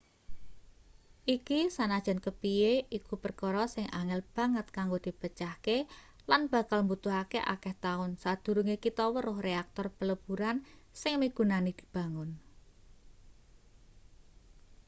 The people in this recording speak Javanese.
iki sanajan kepiye iku perkara sing angel banget kanggo dipecahke lan bakal mbutuhake akeh taun sadurunge kita weruh reaktor peleburan sing migunani dibangun